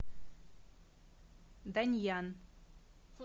даньян